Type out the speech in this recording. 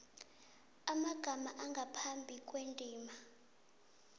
amagama angaphambi kwendima